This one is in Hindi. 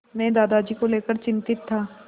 मैं दादाजी को लेकर चिंतित था